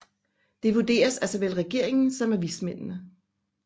Det vurderes af såvel regeringen som af vismændene